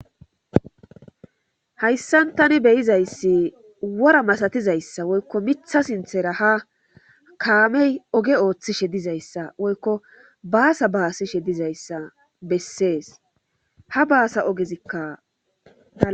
hayssan tani beyizayssi wora masatizayssa woykko mitha sinthera ha kaamey oge ooththishe dizayssa woykko baasa baasishe dizayssa bessees ha baasa ogezikkaa